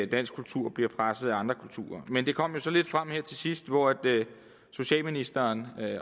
dansk kultur bliver presset af andre kulturer men det kom jo så lidt frem her til sidst hvor socialministeren